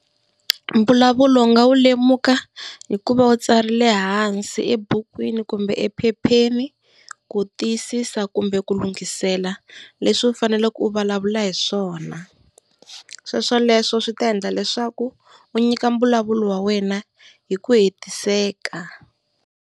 Mbulavulo u nga wu lemuka hikuva u tsarile hansi ebukwini kumbe ephepheni ku tiyisisa kumbe ku lunghisela leswi u faneleke u vulavula hi swona. Swoswoleswo swi ta endla leswaku u nyika mbulavulo wa wena hi ku hetiseka.